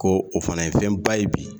Ko o fana ye fɛnba ye bi